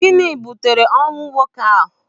Gịnị butere ọnwụ nwoke ahụ?